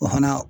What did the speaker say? O fana